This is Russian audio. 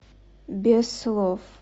без слов